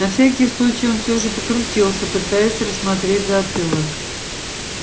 на всякий случай он всё же покрутился пытаясь рассмотреть затылок